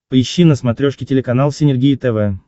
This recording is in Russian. поищи на смотрешке телеканал синергия тв